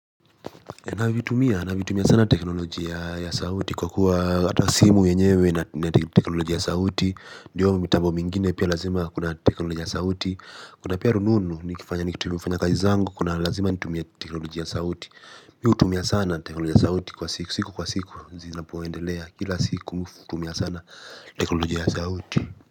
Teknolojia ya sauti kwa kuwa watu wa simu enyewe. Kuna pia rununu ni kifanya ni kifanya kaji zango kuna lazima nitumia teknolojia ya sauti. Mi utumia sana teknolojia ya sauti kwa siku siku kwa siku zinapo endelea kila siku tumia sana teknolojia ya sauti.